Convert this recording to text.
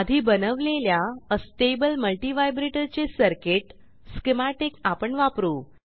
आधी बनवलेल्या अस्टेबल multivibratorचे सर्किटschematic आपण वापरू